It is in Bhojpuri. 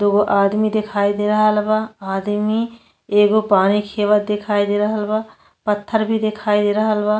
दूगो आदमी दिखाई दे रहल बा। आदमी एगो पानी खेवत दिखाई दे रहल बा पत्थर भी दिखाई दे रहल बा।